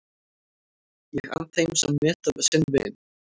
Ég ann þeim sem meta sinn vin.